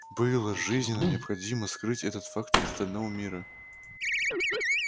было жизненно необходимо скрыть этот факт от остального мира